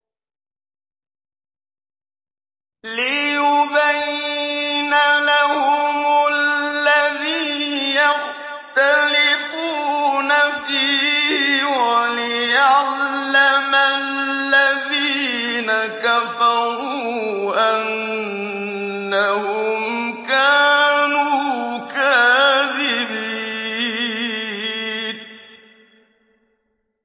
لِيُبَيِّنَ لَهُمُ الَّذِي يَخْتَلِفُونَ فِيهِ وَلِيَعْلَمَ الَّذِينَ كَفَرُوا أَنَّهُمْ كَانُوا كَاذِبِينَ